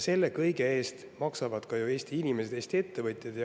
Selle kõige eest maksavad ju ka Eesti inimesed, Eesti ettevõtjad.